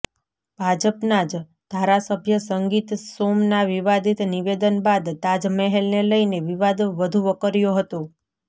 ભાજપના જ ધારાસભ્ય સંગીત સોમના વિવાદિત નિવેદન બાદ તાજમહેલને લઇને વિવાદ વધુ વકર્યો હતો